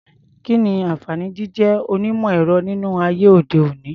Kí ni àǹfààní jíjé onímọ̀-ẹ̀rọ nínú ayé òde-òní?